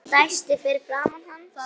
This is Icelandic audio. Hún dæsti fyrir framan hann.